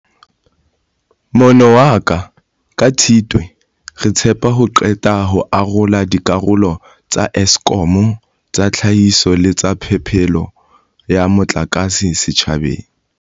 Mono waha ka Tshitwe, re tshepa ho qeta ho arola dikarolo tsa Eskom tsa tlhahiso le tsa phepelo ya motlakase setjhabeng.